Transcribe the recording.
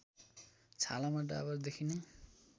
छालामा डाबर देखिने